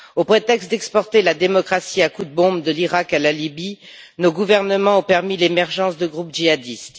Au prétexte d'exporter la démocratie à coups de bombes de l'Iraq à la Libye, nos gouvernements ont permis l'émergence de groupes djihadistes.